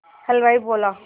हलवाई बोला